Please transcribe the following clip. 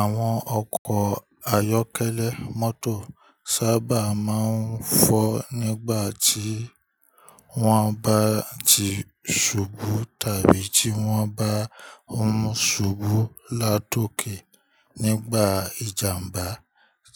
Àwọn ọkọ̀ ayọ́kẹ́lẹ́ mọ́tò sábà máa ń fọ́ nígbà tí wọ́n bá ti ṣubú tàbí tí wọ́n bá ń mú ṣubú látòké nígbà ìjàmbá